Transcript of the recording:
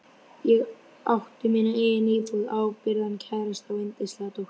Ég átti mína eigin íbúð, ábyrgan kærasta og yndislega dóttur.